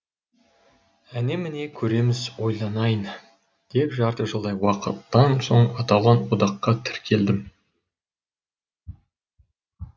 әне міне көреміз ойланайын деп жарты жылдай уақыттан соң аталған одаққа тіркелдім